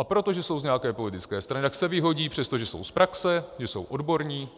A protože jsou z nějaké politické strany, tak se vyhodí, přestože jsou z praxe, že jsou odborníci